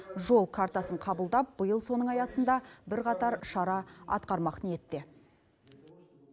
жол картасын қабылдап биыл соның аясында бірқатар шара атқармақ ниетте